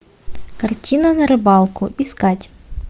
картина на рыбалку искать